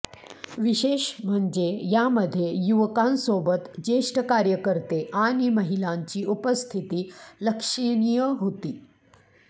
विशेष म्हणजे यामध्ये युवकांसोबत ज्येष्ठ कार्यकर्ते आणि महिलांची उपस्थिती लक्षणिय होती